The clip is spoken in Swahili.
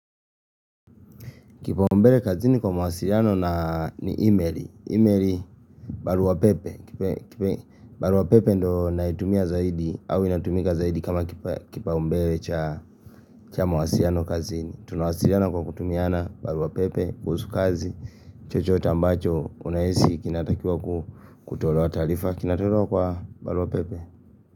Kipaumbele kazini kwa mawasiliano na ni emaili. Emaili baruapepe. Baruapepe ndo naitumia zaidi au inatumika zaidi kama kipaumbele cha mawasiliano kazini. Tunawasiliana kwa kutumiana baruapepe, kuhusu kazi, chochote ambacho, unahisi kinatakiwa kutolewa taarifa. Kinatolewa kwa baruapepe.